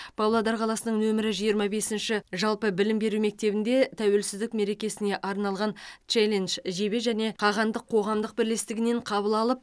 павлодар қаласының нөмірі жиырма бесінші жалпы білім беру мектебінде тәуелсіздік мерекесіне арналған челлендж жебе және қағандық қоғамдық бірлестігінен қабыл алып